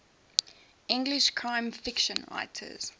english crime fiction writers